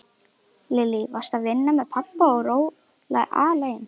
Lillý: Varstu að vinna með pabba og róla alein?